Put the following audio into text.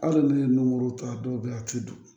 Hali n'u ye nunkuru ta a dɔw bɛ yen a tɛ don